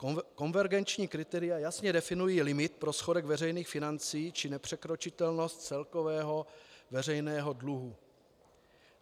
Konvergenční kritéria jasně definují limit pro schodek veřejných financí či nepřekročitelnost celkového veřejného dluhu.